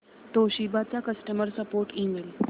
Toshiba चा customer support email